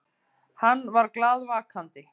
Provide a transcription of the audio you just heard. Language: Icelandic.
Hann var glaðvakandi.